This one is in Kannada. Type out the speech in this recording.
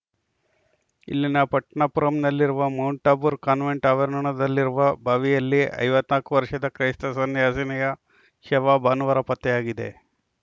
ಇಲ್ಲಿನ ಪಟ್ಟಣಪುರಂನಲ್ಲಿರುವ ಮೌಂಟ್‌ ಟಾಬೂರ್‌ ಕಾನ್ವೆಂಟ್‌ ಆವರಣದಲ್ಲಿರುವ ಬಾವಿಯಲ್ಲಿ ಐವತ್ತ್ ನಾಲ್ಕು ವರ್ಷದ ಕ್ರೈಸ್ತ ಸನ್ಯಾಸಿನಿಯ ಶವ ಭಾನುವಾರ ಪತ್ತೆಯಾಗಿದೆ